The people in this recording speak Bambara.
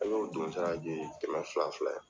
An y'o don sara biye kɛ kɛmɛ fila fila yan.